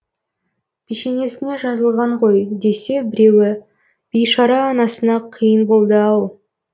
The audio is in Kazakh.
пешенесіне жазылған ғой десе біреуі бейшара анасына қиын болды ау